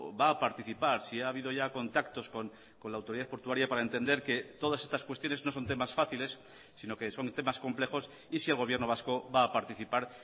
va a participar si ha habido ya contactos con la autoridad portuaria para entender que todas estas cuestiones no son temas fáciles sino que son temas complejos y si el gobierno vasco va a participar